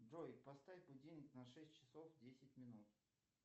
джой поставь будильник на шесть часов десять минут